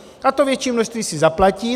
A to větší množství si zaplatí.